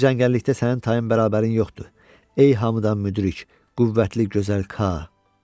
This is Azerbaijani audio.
Bütün cəngəllikdə sənin tayın-bərabərin yoxdur, ey hamıdan müdrik, qüvvətli, gözəl Ka.